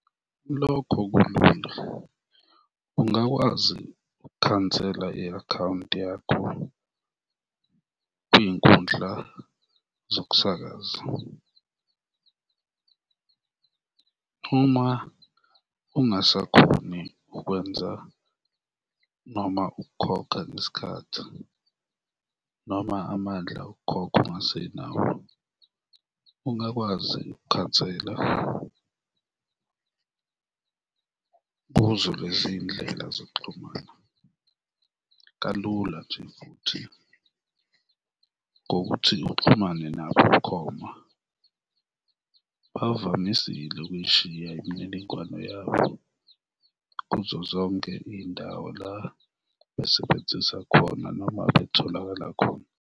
Lokho kulinda, kungakwazi ukukhansela i-akhawunti yakho kwiy'nkundla zokusakaza. Uma ungasakhoni ukwenza noma ukukhokha ngesikhathi noma amandla okukhokha ungasenawo, ungakwazi ukukhansela kuzo lezi iy'ndlela zokuxhumana, kalula nje futhi ngokuthi uxhumane nabo bukhoma, bavamisile ukuyishiya imininingwane yabo kuzo zonke iy'ndawo la besebenzisa khona noma betholakala khona.